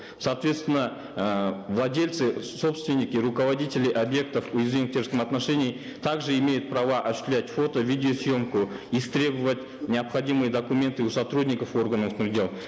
соответственно эээ владельцы собственники руководители объектов уязвимых в террористическом отношении так же имеют права осуществлять фото видеосъемку истребовать необходимые документы у сотрудников органов дел